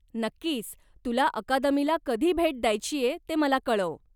नक्कीच, तुला अकादमीला कधी भेट द्यायचीय ते मला कळव.